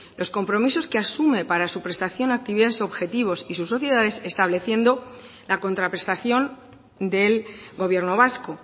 los compromisos que asume para su prestación actividades y objetivos y sociedades estableciendo la contraprestación del gobierno vasco